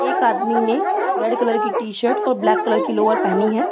एक आदमी ने रेड कलर की टी-शर्ट और ब्लैक कलर की लोअर पहनी है।